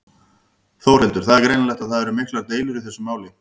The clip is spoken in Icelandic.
Þórhildur: Það er greinilegt að það eru miklar deilur í þessu máli?